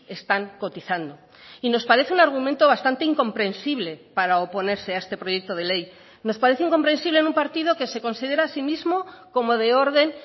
están cotizando y nos parece un argumento bastante incomprensible para oponerse a este proyecto de ley nos parece incomprensible en un partido que se considera a sí mismo como de orden